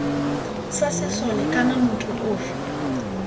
sa sesole kana motho ofe